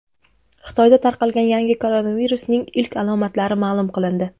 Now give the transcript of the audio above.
Xitoyda tarqalgan yangi koronavirusning ilk alomatlari ma’lum qilindi.